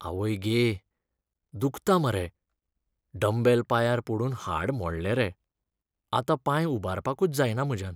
आवय गे! दुखता मरे. डम्बेल पांयांर पडून हाड मोडलें रे. आतां पांय उबारपाकूच जायना म्हज्यान.